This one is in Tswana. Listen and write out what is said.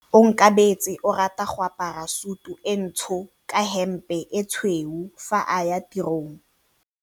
Onkabetse o rata go apara sutu e ntsho ka hempe e tshweu fa a ya tirong.